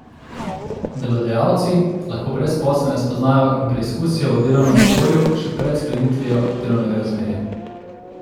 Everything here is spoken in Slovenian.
Delodajalci lahko brezposelne spoznajo in preizkusijo v delovnem okolju še pred sklenitvijo delovnega razmerja.